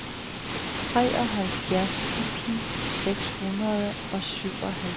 treoghalvfjerds tusind seks hundrede og syvoghalvtreds